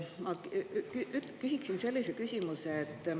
Ma küsiksin sellise küsimuse.